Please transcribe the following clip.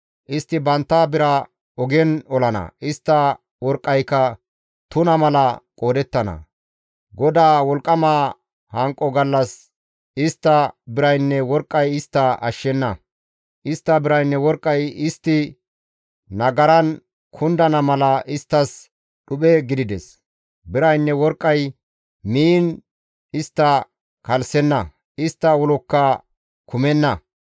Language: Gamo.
Istti bantta biraa ogen olana; istta worqqayka tuna mala qoodettana; GODAA wolqqama hanqo gallas istta biraynne worqqay istta ashshenna; istta biraynne worqqay istti nagaran kundana mala isttas dhuphe gidides; biraynne worqqay miin istta kalssenna; istta ulokka kumenna.